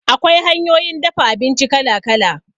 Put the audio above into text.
Akwai hanyoyin dafa abinci kala kala